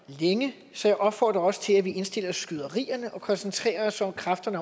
længe så jeg opfordrer også til at vi indstiller skyderierne og koncentrerer os om kræfterne